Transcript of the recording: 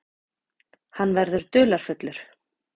Hann verður dularfullur.